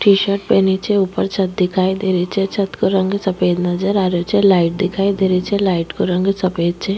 T-shirt पहनी छे ऊपर छत दिखाई दे रही छे छत को रंग सफ़ेद नजर आ रो छे निचे लाइट दिखाई दे रही छे लाइट को रंग सफ़ेद छ।